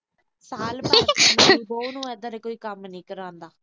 ਅੱਜ ਕੱਲ੍ਹ ਬਹੂ ਤੋਂ ਏਦਾਂ ਦੇ ਕੋਈ ਕੰਮ ਨੀ ਕਰਾਉਂਦਾ।